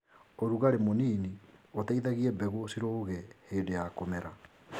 ũrugarĩ mũnini ũteithagie mbegũ cirũge hĩndĩ ya kũmera.